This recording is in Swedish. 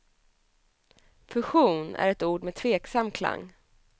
Fusion är ett ord med tveksam klang.